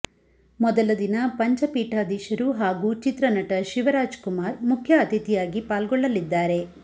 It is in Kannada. ಮೊದಲ ದಿನ ಪಂಚಪೀಠಾದೀಶರು ಹಾಗೂ ಚಿತ್ರನಟ ಶಿವರಾಜ ಕುಮಾರ್ ಮುಖ್ಯ ಅತಿಥಿಯಾಗಿ ಪಾಲ್ಗೊಳ್ಳಲಿದ್ದಾರೆ